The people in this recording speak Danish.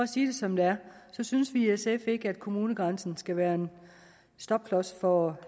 sige det som det er så synes vi i sf ikke at kommunegrænsen skal være en stopklods for